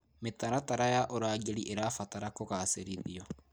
Mĩtaratara ya ũrangĩri ĩrabatara kũgacĩrithio.